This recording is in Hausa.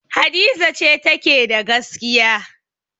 Hadiza ce take da gaskiya.